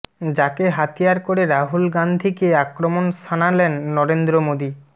যাকে হাতিয়ার করে রাহুল গাঁধীকে আক্রমণ শানালেন নরেন্দ্র মোদি